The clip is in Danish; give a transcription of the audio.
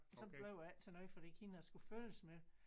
Så blev det ikke til noget fordi hende jeg skulle følges med